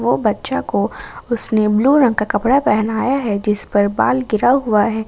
वो बच्चा को उसने ब्लू रंग का कपड़ा पहनाया है जिसपर बाल गिरा हुआ है ।